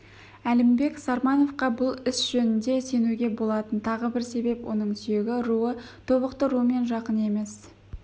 әлімбек сармановқа бұл іс жөнінде сенуге болатын тағы бір себеп оның сүйегі руы тобықты руымен жақын емес